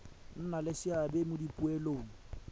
nna le seabe mo dipoelong